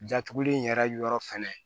Datuguli in yɛrɛ yɔrɔ fɛnɛ